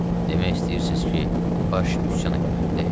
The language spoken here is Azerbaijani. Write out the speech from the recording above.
Demək istəyirsiz ki, baş üsyan eləməlidir?